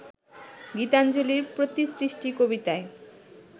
গীতাঞ্জলির ‘প্রতিসৃষ্টি’ কবিতায়